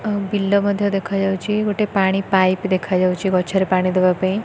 ଅ ବି ଲ ମଧ୍ୟ ଦେଖାଯାଉଛି ଗୋଟେ ପାଣି ପାଇପ୍ ଦେଖାଯାଉଛି ଗଛରେ ପାଣି ଦେବା ପାଇଁ।